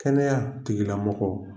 Kɛnɛya tigilamɔgɔ